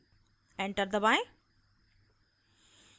enter दबाएं